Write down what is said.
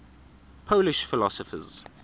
polish philosophers